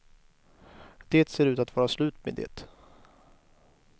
Det ser ut att vara slut med det.